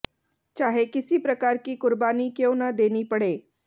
चाहे किसी प्रकार की कुर्बानी क्यों न देनी पड़े